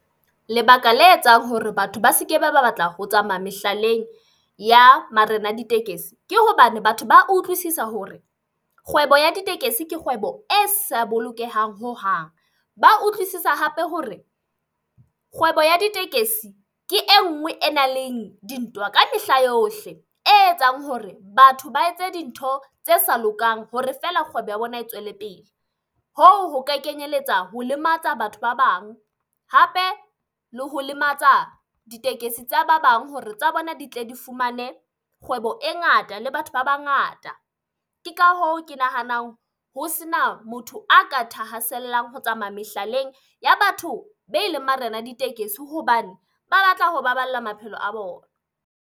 Lebaka le etsang hore batho ba seke ba ba batla ho tsamaya mehlaleng ya marena a ditekesi. Ke hobane batho ba utlwisisa hore kgwebo ya ditekesi ke kgwebo e sa bolokehang hohang. Ba utlwisisa hape hore kgwebo ya ditekesi ke e nngwe e nang leng dintwa ka mehla yohle, e etsang hore batho ba etse dintho tse sa lokang hore feela kgwebo ya bona e tswele pele. Hoo ho ka kenyelletsa ho lematsa batho ba bang, hape le ho lematsa ditekesi tsa ba bang hore tsa bona di tle di fumane kgwebo e ngata le batho ba bangata. Ke ka hoo ke nahanang ho sena motho a ka thahasellang ho tsamaya mehlaleng ya batho be leng marena ditekesi hobane ba batla ho baballa maphelo a bona.